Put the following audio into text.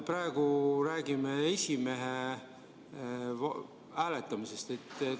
Praegu me räägime esimehe hääletamisest.